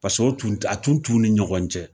Pas'o tun a tun t'u ni ɲɔgɔn cɛ.